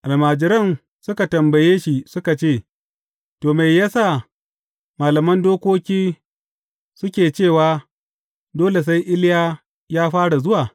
Almajiran suka tambaye shi suka ce, To, me ya sa malaman dokoki suke cewa, dole sai Iliya ya fara zuwa?